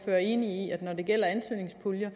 er enig i at når det gælder ansøgningspuljer